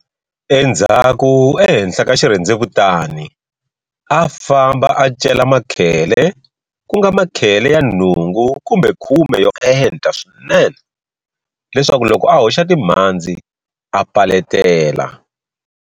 Endzhaku ehenhla ka xirhendzevutani a famba a cela makhele ku nga makhele ya nhungu kumbe khume ya enta swinene leswaku loko a hoxa timhandzi a paletela.